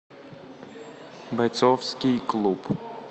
бойцовский клуб